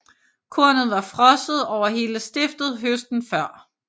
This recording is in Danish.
Kornet var frosset over hele stiftet høsten før